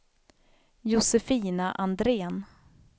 Josefina Andrén